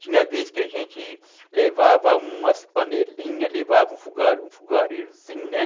Tinha vez que a gente levava umas panelinhas, levava um fo fogareirozinho, né?